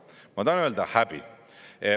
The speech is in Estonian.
Ma tahan öelda: häbi!